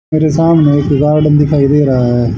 मेरे सामने एक गार्डन दिखाई दे रहा है।